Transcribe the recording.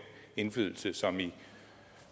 indflydelse som i